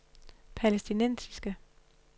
palæstinensiske